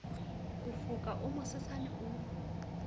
ho foka o mosesane o